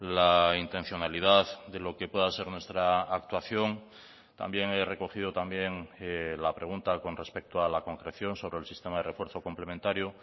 la intencionalidad de lo que pueda ser nuestra actuación también he recogido también la pregunta con respecto a la concreción sobre el sistema de refuerzo complementario